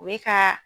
O ye ka